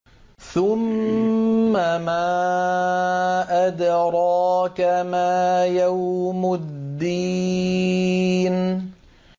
ثُمَّ مَا أَدْرَاكَ مَا يَوْمُ الدِّينِ